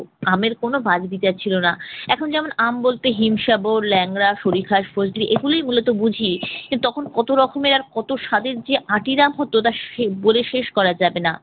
আমের কোন বাছবিচার ছিল না। এখন যেমন আম বলতে হিমসাগর, লেংড়া, সরিফা, ফজলি এগুলোই মূলত বুঝি। কিন্তু তখন কত রকমের আর কত স্বাদের যে আঁটির আম হতো তা সে বলে শেষ করা যাবে না।